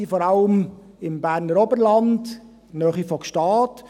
Sie leben vor allem im Berner Oberland, in der Nähe von Gstaad.